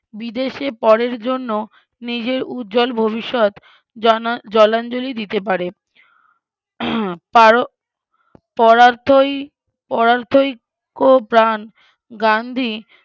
বিদেশে পরের জন্য নিজের উজ্জ্বল ভবিষ্যৎ জনা জলাঞ্জলি দিতে পারে পারো পরার্থই পরার্থই কো প্রান গান্ধী